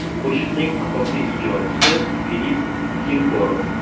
Qo‘shiqning asosiy ijrochisi – Filipp Kirkorov.